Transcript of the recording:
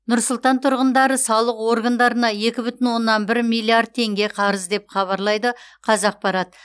нұр сұлтан тұрғындары салық органдарына екі бүтін оннан бір миллиард теңге қарыз деп хабарлайды қазақпарат